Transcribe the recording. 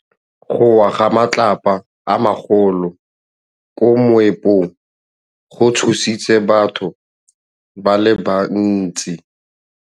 Go wa ga matlapa a magolo ko moepong go tshositse batho ba le bantsi.